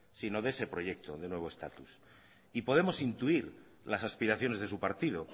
sino de ese proyecto de nuevo estatus y podemos intuir las aspiraciones de su partido